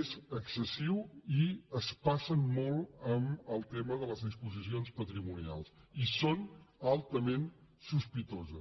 és excessiu i es passen molt en el tema de les disposicions patrimonials i són altament sospitoses